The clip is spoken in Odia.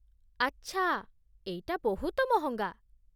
ଆଚ୍ଛା । ଏଇଟା ବହୁତ ମହଙ୍ଗା ।